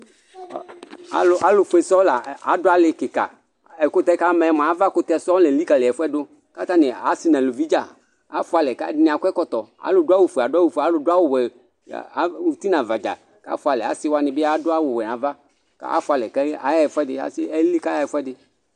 Alu fue sɔsɔ la du alo kika ɛkutɛ ama yɛ mia ava kutɛ lelikali ɛfuɛdi asi nɛ eluvi afualɛ akɔ ɛkɔtɔ adu awu fue alu du awu wɛ uti naʋa asiwani afualɛ yaɣa ɛfuɛdi